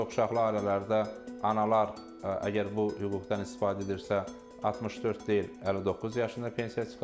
Çoxuşaqlı ailələrdə analar əgər bu hüquqdan istifadə edirsə, 64 deyil, 59 yaşında pensiyaya çıxırlar.